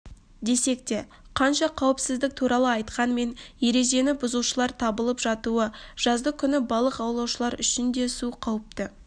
десекте қанша қауіпсіздік туралы айтқанмен ережені бұзушылар табылып жатуы жаздыкүні балық аулаушылар үшін де су қауіпті